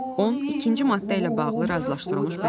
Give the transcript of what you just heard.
12-ci maddə ilə bağlı razılaşdırılmış bəyanat.